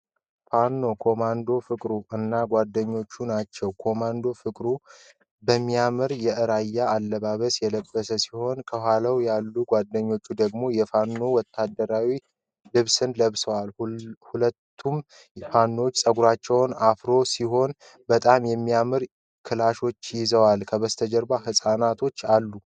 ፋኖ ኮማንዶ ፍቅሩ እና ጓደኛው ናቸው። ኮማንዶ ፍቅሩ በሚያምር የእራያ አለባብስን የለበሰ ሲሆን ከኋላው ያለው ጓደኛው ደግሞ የፋኖ ወታደራዊ ልብስን ለብሷል። የሁለቱም ፋኖዎች ፁጉር አፍሮ ሲሆን በጣም የሚያማምሩ ክላሾቹን ይዘዋል። ከበስተጀርባቸው ህፃናቶች አሉ።